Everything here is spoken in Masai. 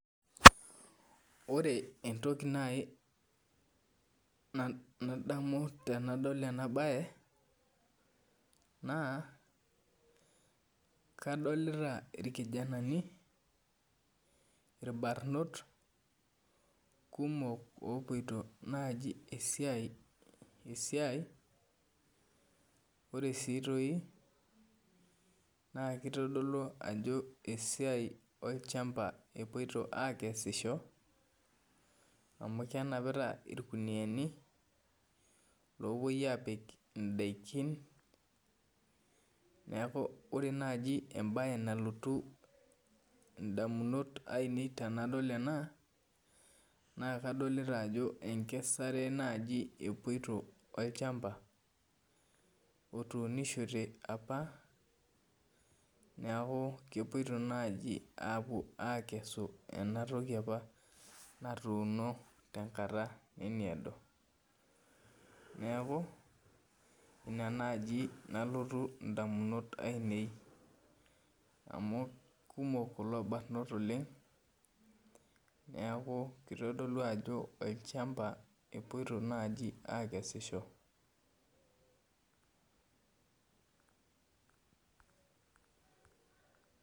Ore entoki nai nadamu tenadol enabae, naa, kadolita irkijanani, irbanot kumok opoito nai esiai, ore si toi naa kitodolu ajo esiai olchamba epoito akesisho, amu kenapita irkuniyiani, lopoi apik idaikin, neeku ore naji ebae nalotu indamunot ainei tenadol ena, naa kadolita ajo enkesare naji epoito olchamba, otuunishote apa, neeku kepoito naji apuo akesu enatoki apa natuuno tenkata nemiedo. Neeku, ina naji nalotu indamunot ainei. Amu kumok kulo barnot oleng, neeku kitodolu ajo olchamba epoito naji akesisho.